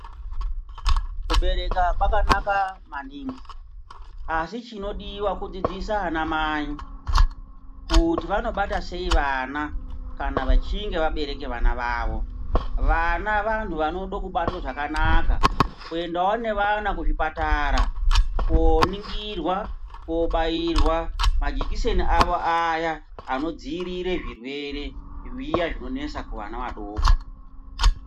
Kubereka kwakanaka maningi asi chinodiwa kudzidzisa ana mai kuti vanobata sei vana kana vachinge vabereka vana vavo. Vana vantu vanode kubatwa zvakanaka kuendawo nevana kuzvipatara koningirwa kobairwa majikiseni avo aya anodziirire zvirwere zviya zvinonesa kuvana vadoko.